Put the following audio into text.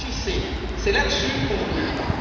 Agissez, c'est là dessus qu'on vous jugera.